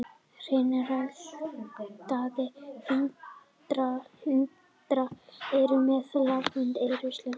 Hreinræktaðir hundar eru með lafandi eyru og silfurgráan feld.